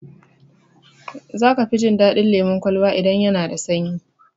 Za ka fi jin daɗin lemun kwalba idan yana da sanyi.